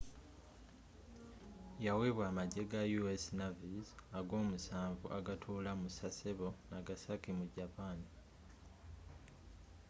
yaweebwa amajje ga u.s. navy's ag'omusanvu agatuula mu sasebo nagasaki mu japan